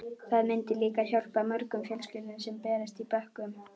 Það myndi líka hjálpa mörgum fjölskyldum sem berjast í bökkum.